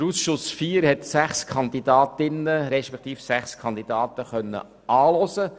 Der Ausschuss IV hat sechs Kandidatinnen und Kandidaten angehört.